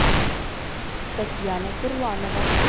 татьяна турланова